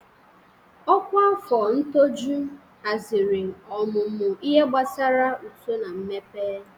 Ọkwa afọ ṅtọjụ haziri ọmụmụ ihe gbasara uto na mmepe.